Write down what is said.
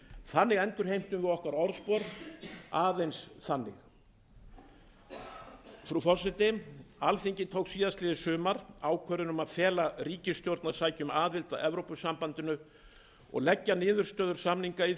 þannig endurheimtum við orðspor okkar aðeins þannig frú forseti alþingi tók í fyrrasumar ákvörðun um að fela ríkisstjórn að sækja um aðild að evrópusambandinu og leggja niðurstöður samninga í